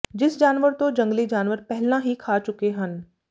ਜਿਸ ਜਾਨਵਰ ਤੋਂ ਜੰਗਲੀ ਜਾਨਵਰ ਪਹਿਲਾਂ ਹੀ ਖਾ ਚੁੱਕੇ ਹਨ